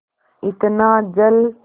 इतना जल